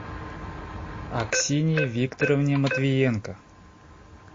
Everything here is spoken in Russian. аксинье викторовне матвиенко